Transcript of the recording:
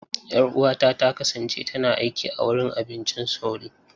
Yar'uwata ta kasance tana aiki a wurin abincin sauri.